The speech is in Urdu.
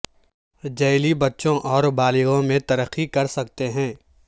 جیلی بچوں اور بالغوں میں ترقی کر سکتے ہیں